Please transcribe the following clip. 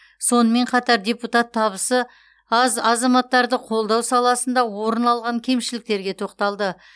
сонымен қатар депутат табысы аз азаматтарды қолдау саласында орын алған кемшіліктерге тоқталды